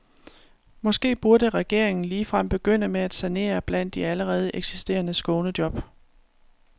Måske burde regeringen ligefrem begynde med at sanere blandt de allerede eksisterende skånejob.